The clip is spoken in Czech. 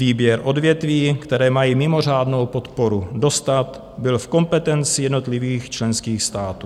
Výběr odvětví, která mají mimořádnou podporu dostat, byl v kompetenci jednotlivých členských států.